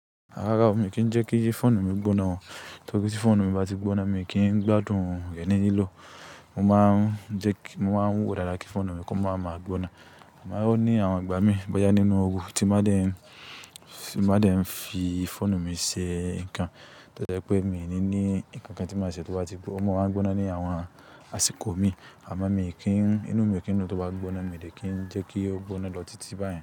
Rárá o, mi kì í jẹ́ kí fọ́ọ̀nù mi gbóná o. Torí tí fọ́ọ̀nù mi bá ti gbóná, mi kì í gbádùn rẹ̀ ní lìlò. Mo máa ń jẹ́ kí, mo máa ń wò dáadáa kí fọ́ọ̀nù mi kó máa ma gbóná. Sugbon, O ní àwọn igbà mí i bọ́yá nínú oru tí bá dé ń, bá dé ń fi fọ́ọ̀nù mi ṣe nǹkan, tori pé mi ní ní nnkan kan tí màá ṣe tó bá ti gbóna. O máa ń gbóná ní àwọn àsìkò mí, àmọ́ mi kì í, inú mi kì í nu tó bá gbóná, mi lè kì í jẹ́ kí ó gbóná lọ títí báyìí.